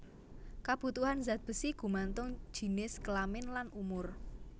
Kabutuhan zat besi gumantung jinis kelamin lan umur